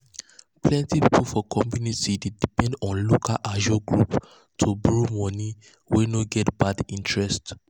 plenty people for community dey depend on local ajo group to borrow money wey no get bad interest.